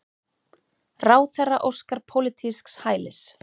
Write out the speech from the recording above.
Ráðherra óskar pólitísks hælis